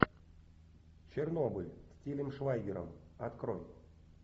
чернобыль с тилем швайгером открой